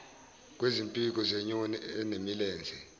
kwezimpiko zenyoni enemilenze